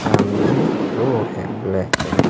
सामने ही रोड है ब्लैक कलर --